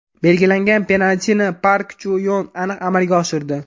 Belgilangan penaltini Park Chu Yon aniq amalga oshirdi.